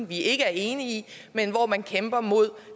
vi ikke er enige i men hvor man kæmper mod